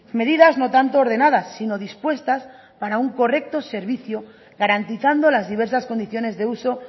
medidas no tanto ordenadas sino dispuestas para un correcto servicio garantizando las diversas condiciones de uso